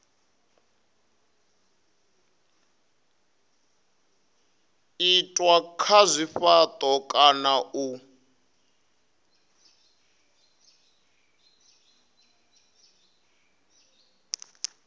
itwa kha zwifhato kana u